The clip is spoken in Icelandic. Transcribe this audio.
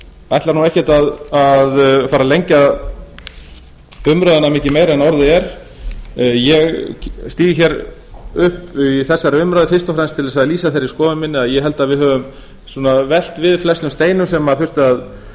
ætla nú ekkert að fara að lengja umræðuna mikið meira en orðið er ég stíg hér upp í þessari umræðu fyrst og fremst til þess að lýsa þeirri skoðun minni að ég held að við höfum velt við flestum steinum sem þurfti